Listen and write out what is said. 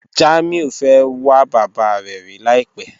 Jamiu fẹ́ wà bàbá rẹ̀ rí làìpẹ̀